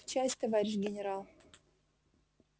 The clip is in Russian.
в часть товарищ генерал